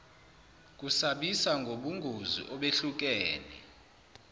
kusabisa ngobungozi obehlukene